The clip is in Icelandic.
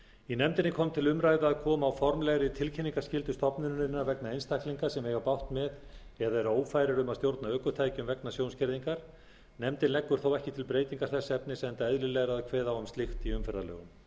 í nefndinni kom til umræðu að koma á formlegri tilkynningarskyldu stofnunarinnar vegna einstaklinga sem eigi bágt með eða eru ófærir um að stjórna ökutækjum vegna sjónskerðingar nefndin leggur þó ekki til breytingar þess efnis enda eðlilegra að kveða á um slíkt í umferðarlögum